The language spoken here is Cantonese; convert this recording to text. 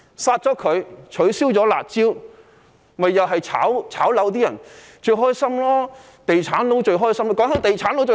刪除開支、取消"辣招"，只會讓"炒樓"的人高興，"地產佬"最高興。